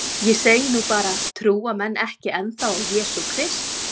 Ég segi nú bara trúa menn ekki ennþá á jesú krist?